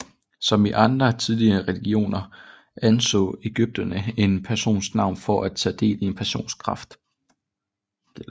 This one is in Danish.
Som i andre tidligere religioner anså ægypterne en persons navn for at tage del i en persons kraft